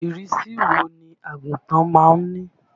Ìrísí wo ni àgùnfọn má ń ní?